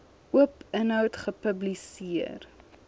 oop inhoud gepubliseer